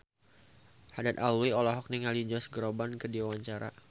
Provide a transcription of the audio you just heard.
Haddad Alwi olohok ningali Josh Groban keur diwawancara